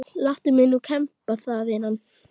Láttu mig nú kemba það vinan.